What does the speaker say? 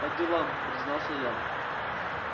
по делам признался я